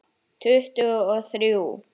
Tuttugu og þrjú!